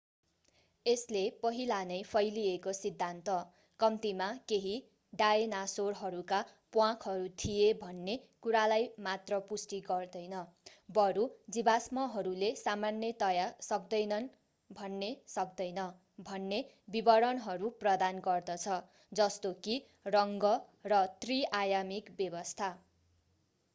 यसले पहिला नै फैलिएको सिद्धान्त कम्तीमा केही डायनासोरहरूका प्वाँखहरू थिए भन्ने कुरालाई मात्र पुष्टि गर्दैन बरु जीवाश्महरूले सामान्यतया सक्दैनन् भन्ने सक्दैन भन्ने विवरणहरू प्रदान गर्दछ जस्तो कि रङ्ग र त्रि-आयामिक व्यवस्था